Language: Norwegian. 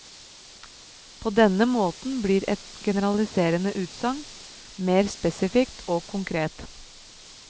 På denne måten blir et generaliserende utsagn mer spesifikt og konkret.